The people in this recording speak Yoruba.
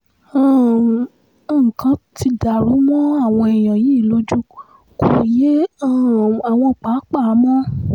um nǹkan tí daru mọ́ àwọn èèyàn yìí lójú kò yé um àwọn pàápàá mọ́